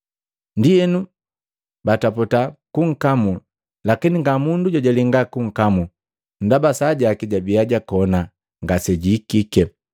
Ndienu bataputa kunkamu, lakini nga mundu jojalenga kunkamu ndaba saa jaki jabiya jakona ngasejihikike.